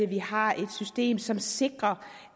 vi har et system som sikrer